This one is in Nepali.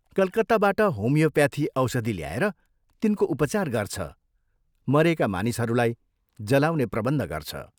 कलकत्ताबाट होमियोप्याथी औषधि ल्याएर तिनको उपचार गर्छ, मरेका मानिसहरूलाई जलाउने प्रबन्ध गर्छ।